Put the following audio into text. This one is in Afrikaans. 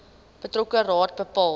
betrokke raad bepaal